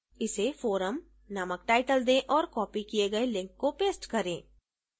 इसे forum नामक title दें और copied किए गए link को paste करें